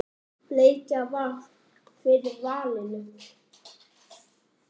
Bleikja varð fyrir valinu.